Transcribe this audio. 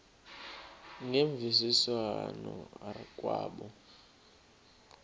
ngemvisiswano r kwabo